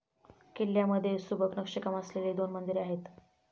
किल्ल्यामधे सुबक नक्षीकाम असलेली दोन मंदिरे आहेत.